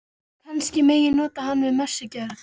Kannski megi nota hann við messugjörð.